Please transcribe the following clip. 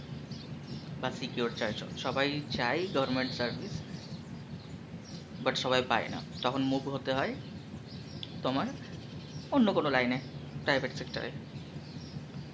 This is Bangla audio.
বা secure চাইছো, সবাই চায়ে government service, but সবাই পায়েনা তখন move হতে হয় তোমার অন্য কোনো line এ, private sector এ